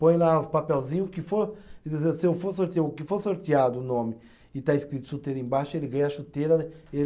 Põe lá os papelzinho, o que for se eu for sortea, o que for sorteado o nome e está escrito chuteira embaixo, ele ganha a chuteira